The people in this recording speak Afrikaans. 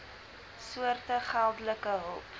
soorte geldelike hulp